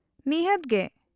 -ᱱᱤᱦᱟᱹᱛ ᱜᱮ ᱾